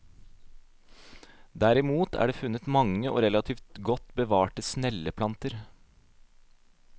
Derimot er det funnet mange og relativt godt bevarte snelleplanter.